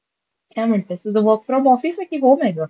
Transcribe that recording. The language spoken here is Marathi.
काय म्हणतेस? तुझं वर्क फ्रॉम ऑफिस हे की होम हे गं?